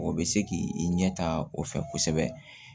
O bɛ se k'i ɲɛ ta o fɛ kosɛbɛ